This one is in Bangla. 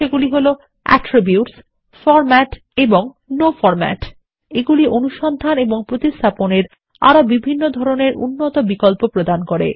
সেগুলি হল অ্যাটিরবিউটস ফরম্যাট এবং নো ফরম্যাট এগুলি অনুসন্ধান এবং প্রতিস্থাপনের আরো বিভিন্ন ধরনের উন্নত বিকল্প প্রদান করে